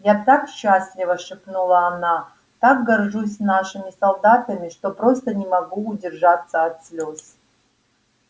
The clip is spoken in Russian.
я так счастлива шепнула она так горжусь нашими солдатами что просто не могу удержаться от слез